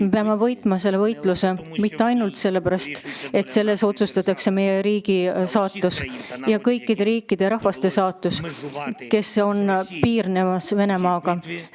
Me peame võitma selle võitluse mitte ainult sellepärast, et selles otsustatakse meie riigi saatus ning kõikide nende rahvaste saatus, kes elavad riikides, mis piirnevad Venemaaga.